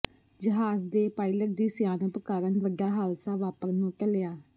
ਜਹਾਜ਼ ਦੇ ਪਾਇਲਟ ਦੀ ਸਿਆਣਪ ਕਾਰਨ ਵੱਡਾ ਹਾਦਸਾ ਵਾਪਰਨੋਂ ਟਲਿਆ